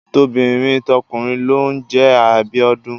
Tobìnrin tọkùnrin ló ń jẹ Abíọ́dún.